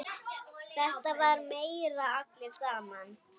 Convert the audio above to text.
Þetta var meira allir saman.